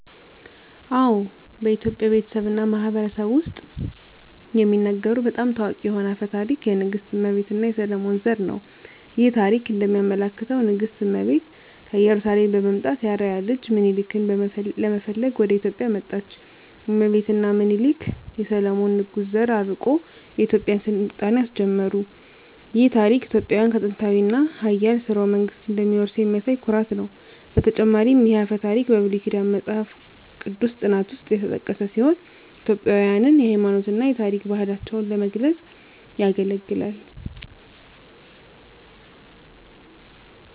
አዎ፣ በኢትዮጵያ ቤተሰብ እና ማህበረሰብ ውስጥ የሚነገሩ በጣም ታዋቂ የሆነ አፈ ታሪክ የንግሥት እመቤት እና የሰሎሞን ዘር ነው። ይህ ታሪክ እንደሚያመለክተው ንግሥት እመቤት ከኢየሩሳሌም በመምጣት የአርአያ ልጅ ሚኒሊክን ለመፈለግ ወደ ኢትዮጵያ መጣች። እመቤት እና ሚኒሊክ የሰሎሞን ንጉሥ ዘር አርቆ የኢትዮጵያን ሥልጣኔ አስጀመሩ። ይህ ታሪክ ኢትዮጵያውያን ከጥንታዊ እና ኃያል ሥርወ መንግሥት እንደሚወርሱ የሚያሳይ ኩራት ነው። በተጨማሪም ይህ አፈ ታሪክ በብሉይ ኪዳን መጽሐፍ ቅዱስ ጥናት ውስጥ የተጠቀሰ ሲሆን ኢትዮጵያውያንን የሃይማኖት እና የታሪክ ባህላቸውን ለመግለጽ ያገለግላል።